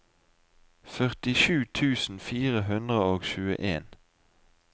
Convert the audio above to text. førtisju tusen fire hundre og tjueen